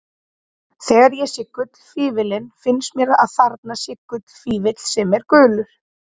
Þegar ég sé gullfífillinn finnst mér að þarna sé gullfífill sem er gulur.